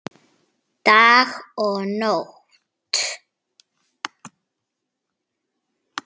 Dag og nótt.